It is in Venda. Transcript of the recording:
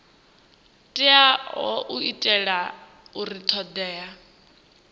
teaho u itela uri thodea